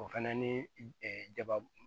O fɛnɛ ni jababu